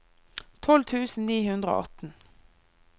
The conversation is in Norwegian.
tolv tusen ni hundre og atten